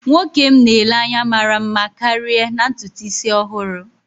Nwoke m na-ele anya mara mma karịa na ntutu isi ọhụrụ